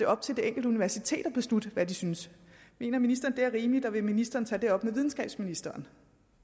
op til det enkelte universitet at beslutte hvad de synes mener ministeren det er rimeligt og vil ministeren tage det op med videnskabsministeren